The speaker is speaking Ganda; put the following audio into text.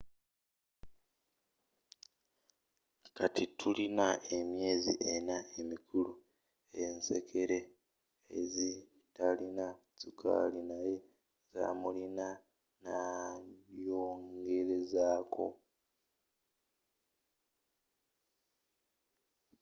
kati tuyina emyezi enna emikulu ensekere ezi zitalina sukali naye zamulina,” nayongerezako